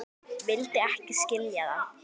Vildi ekki skilja það.